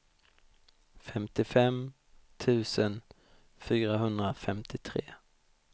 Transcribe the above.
femtiofem tusen fyrahundrafemtiotre